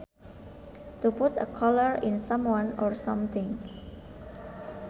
To put a collar on someone or something